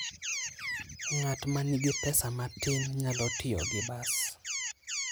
Ng'at ma nigi pesa matin nyalo tiyo gi bas.